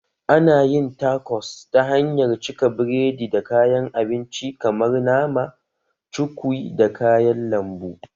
Ana yin takos ta hanyar cika biredi da kayan abinci kamar nama, cukwi da kayan lambu